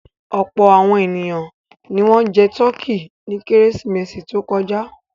Ọ̀pọ̀ àwọn ènìyàn ni wọ́n jẹ tọkí ní Kérésìmesì tó kọjá.